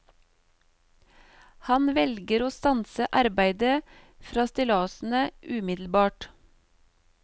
Han velger å stanse arbeidet fra stillasene umiddelbart.